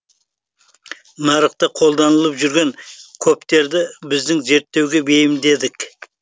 нарықта қолданылып жүрген коптерді біздің зерттеуге бейімдедік